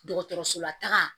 Dɔgɔtɔrɔso la taga